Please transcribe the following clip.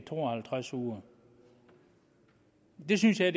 to og halvtreds uger det synes jeg